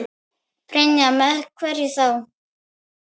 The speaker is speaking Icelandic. Brynja: Með hverju þá?